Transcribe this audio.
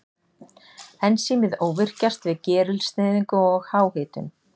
Ensímið óvirkjast við gerilsneyðingu og háhitun.